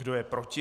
Kdo je proti?